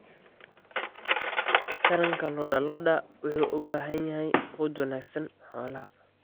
Taranta lo'da lo'da waxay u baahan tahay quud wanaagsan xoolaha.